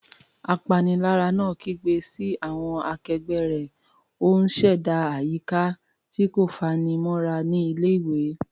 Apanilára náà kígbe sí àwọn akẹgbẹ́ rẹ̀, ó ń ṣẹ̀dá àyíká tí kò fanimọ́ra ní ilé-ìwé.